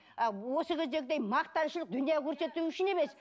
а осы кездегідей мақтаншылық дүние көрсету үшін емес